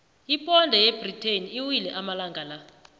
iponde yebritain iwile amalangana la